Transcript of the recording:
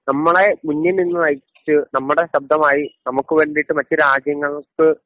നമ്മളെ മുന്നിൽ നിന്ന് നയിച്ച് നമ്മുടെ ശബ്ദമായി നമുക്കു വേണ്ടിയിട്ട് മറ്റു രാജ്യങ്ങൾക്ക്